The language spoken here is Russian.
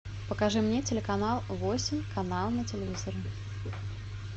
покажи мне телеканал восемь канал на телевизоре